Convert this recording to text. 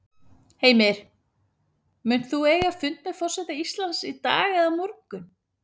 Heimir: Munt þú eiga fund með forseta Íslands í dag eða á morgun?